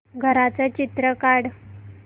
घराचं चित्र काढ